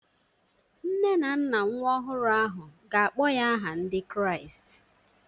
Nne na nna nwa ọhụrụ ahụ ga-akpọ ya aha Ndị Kraịst